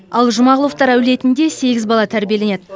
ал жұмағұловтар әулетінде сегіз бала тәрбиеленеді